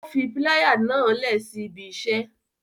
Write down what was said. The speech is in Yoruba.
O fi pilaya náa lẹ si ibi iṣẹ